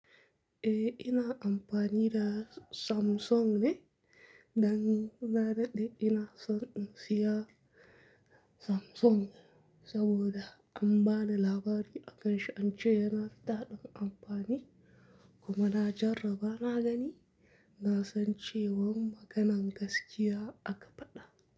Eh ina amfani da Samsung ne, dan na daɗe ina son in siya Samsung saboda an bani labari akan shi, an ce yana daɗin amfani kuma na jarraba na gani. Na san cewan maganan gaskiya aka faɗa.